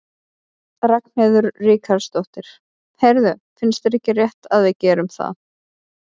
Ragnheiður Ríkharðsdóttir: Heyrðu, finnst þér ekki rétt að við gerum það?